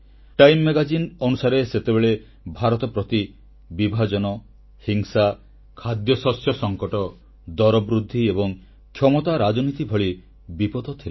time Magazineର report ଅନୁସାରେ ସେତେବେଳେ ଭାରତ ପ୍ରତି ବିଭାଜନ ହିଂସା ଖାଦ୍ୟଶସ୍ୟ ସଂକଟ ଦରବୃଦ୍ଧି ଏବଂ କ୍ଷମତା ରାଜନୀତି ଭଳି ବିପଦ ଥିଲା